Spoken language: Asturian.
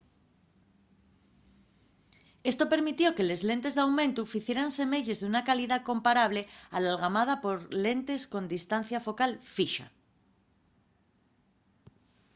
esto permitió que les lentes d'aumentu ficieran semeyes d'una calidá comparable a l'algamada por lentes con distancia focal fixa